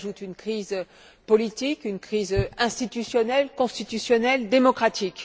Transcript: S'y ajoutent une crise politique et une crise institutionnelle, constitutionnelle et démocratique.